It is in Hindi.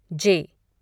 जे